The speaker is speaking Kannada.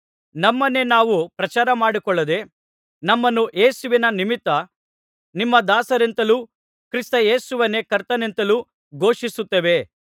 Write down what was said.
ನಮ್ಮನ್ನೇ ನಾವು ಪ್ರಚಾರಮಾಡಿಕೊಳ್ಳದೆ ನಮ್ಮನ್ನು ಯೇಸುವಿನ ನಿಮಿತ್ತ ನಿಮ್ಮ ದಾಸರೆಂತಲೂ ಕ್ರಿಸ್ತೇಸುವನ್ನೇ ಕರ್ತನೆಂತಲೂ ಘೋಷಿಸುತ್ತೇವೆ